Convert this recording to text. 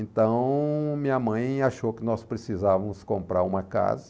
Então, minha mãe achou que nós precisávamos comprar uma casa.